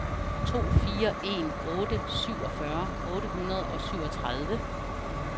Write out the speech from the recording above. to fire en otte syvogfyrre otte hundrede og syvogtredive